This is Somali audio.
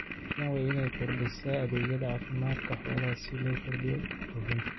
Kenya waa in ay horumarisaa adeegyada caafimaadka xoolaha si loo kordhiyo dhoofinta.